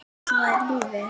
En svona er lífið.